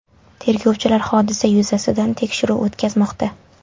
Tergovchilar hodisa yuzasidan tekshiruv o‘tkazmoqda.